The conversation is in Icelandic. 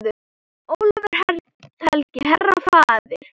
Ólafur helgi, herra, faðir.